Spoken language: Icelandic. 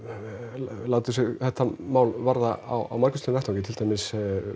látið sig þetta mál varða á margvíslegum vettvangi til dæmis